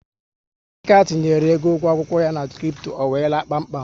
Emeka tinyere égo ụgwọ akwụkwọ ya na kripto, ọ wéé laa kpám kpám